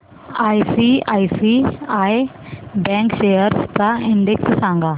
ICICI bank shares चा index सांगा